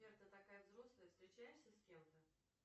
сбер ты такая взрослая встречаешься с кем то